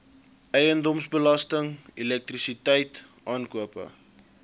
eiendomsbelasting elektrisiteit aankope